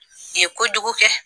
I ye kojugu kɛ